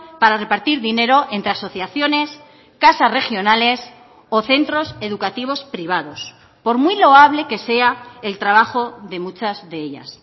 para repartir dinero entre asociaciones casas regionales o centros educativos privados por muy loable que sea el trabajo de muchas de ellas